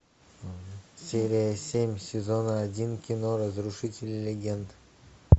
серия семь сезона один кино разрушители легенд